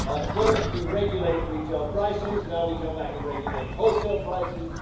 First we regulate retail prices, now we come back and regulate wholesale prices.